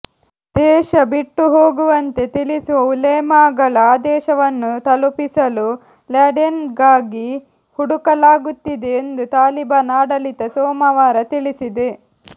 ದೇಶ ಬಿಟ್ಟುಹೋಗುವಂತೆ ತಿಳಿಸುವ ಉಲೇಮಾಗಳ ಆದೇಶವನ್ನು ತಲುಪಿಸಲು ಲ್ಯಾಡೆನ್ಗಾಗಿ ಹುಡುಕಲಾಗುತ್ತಿದೆ ಎಂದು ತಾಲಿಬಾನ್ ಆಡಳಿತ ಸೋಮವಾರ ತಿಳಿಸಿದೆ